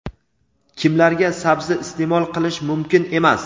Kimlarga sabzi iste’mol qilish mumkin emas?.